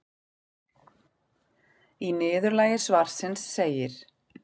Í niðurlagi svarsins segir: